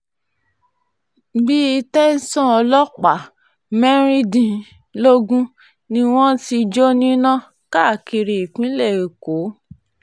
bíi tẹ̀sán ọlọ́pàá mẹ́rìndínlógún um ni wọ́n ti jó níná um káàkiri ìpínlẹ̀ èkó